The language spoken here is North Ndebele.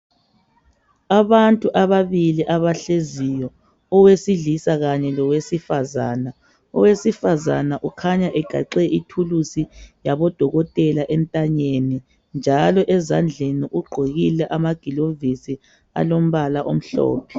Abantu ababili abahleziyo owesilisa kanye lowesifazane. Owesifazane ukhanya egaxe ithulusi labodokotela entanyeni njalo ezandleni ugqokile amagilovisi alombala omhlophe.